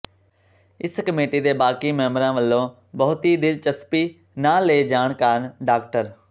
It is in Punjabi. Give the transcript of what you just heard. ਇਸ ਕਮੇਟੀ ਦੇ ਬਾਕੀ ਮੈਂਬਰਾਂ ਵੱਲੋਂ ਬਹੁਤੀ ਦਿਲਚਸਪੀ ਨਾ ਲਏ ਜਾਣ ਕਾਰਨ ਡਾ